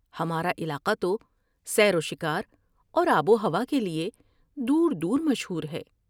ہمارا علاقہ تو سیر و شکار اور آب و ہوا کے لیے دور دور مشہور ہے ۔